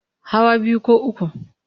Hawa biyu ko uku.